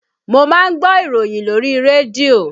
Mo máa ń gbọ́ ìròyìn lórí rédíò